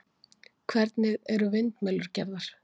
Hvernig eru vindmyllur gerðar?